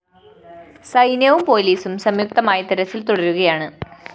സൈന്യവും പോലീസും സംയു്ക്തമായി തെരച്ചില്‍ തുടരുകയാണ്